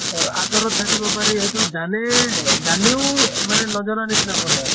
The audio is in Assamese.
অহ আঁতৰত থাকিব পাৰি সেইটো জানে, জানিও মানে নজনা নিছিনা কৰে আৰু।